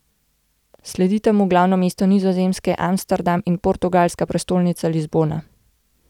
Sledita mu glavno mesto Nizozemske Amsterdam in portugalska prestolnica Lizbona.